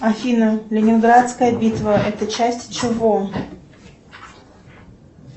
афина ленинградская битва это часть чего